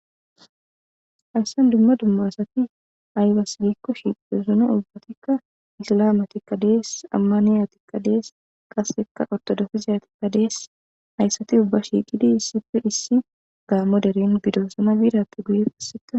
hayssan dumma dumma asati aybase giikko shiqidosona ubbatikka isilamatikka dees ammaniyatikka dees qasekka ortodofiziyatikka dees hayssati ubba shiiqidi issife issi gaammo deren bidosama biidappe guye asseta